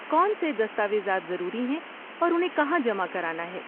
کون سے دستاویزات ضروری ہیں اور انہیں کہاں جمع کرانا ہے؟